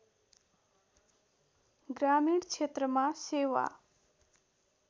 ग्रामीण क्षेत्रमा सेवा